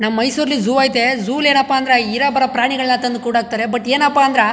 ನಮ್ ಮೈಸೂರ್ಲಿ ಝೂವ್ ಆಯ್ತೆ ಝೂವ್ ಲಿ ಏನಪ್ಪಾ ಅಂದ್ರೆ ಇರೋಬರೋ ಪ್ರಾಣಿಗಳ್ನ ತಂದು ಕುಡಹಾಕತ್ತರೆ ಬಟ್ ಏನಪ್ಪಾ ಅಂದ್ರ.